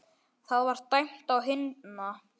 Það var dæmt á hina!